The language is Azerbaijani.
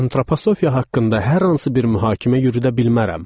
Antroposofiya haqqında hər hansı bir mühakimə yürüdə bilmərəm.